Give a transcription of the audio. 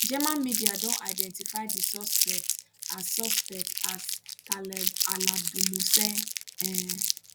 german media don identify di suspect as suspect as taleb alabdulmohsen um